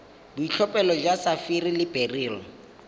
boitlhophelo jwa sapphire le beryl